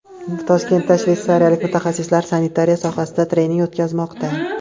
Toshkentda shveysariyalik mutaxassislar sanitariya sohasida trening o‘tkazmoqda.